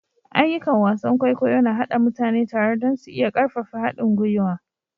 Ayyukan wasan kwaikwayo na haɗa mutane tare don su iya ƙarfafa haɗin gwiwa.